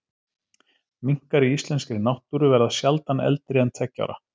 Minkar í íslenskri náttúru verða sjaldan eldri en tveggja ára.